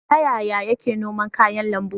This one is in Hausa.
Ta yaya yake noman kayan lambu?